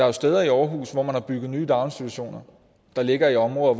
jo steder i aarhus hvor man har bygget nye daginstitutioner der ligger i områder